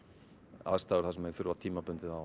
aðstæður þar sem þeir þurfa tímabundið á